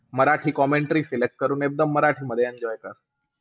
Marathi commentary केल्यात करून एकदम मराठीमध्ये enjoy कर.